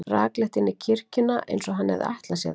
Rakleitt inn í kirkjuna, eins og hann hefði ætlað sér það.